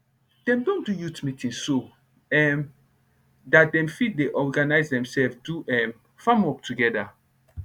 dem don do youth meeting so um dat dem fit dey organize demsef do um farm work togeda